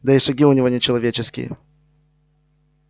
да и шаги у него не человеческие